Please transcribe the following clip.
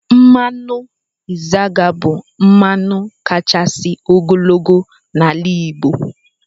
Mmanụ Izaga bụ mmanụ kachasị ogologo na-ala Igbo.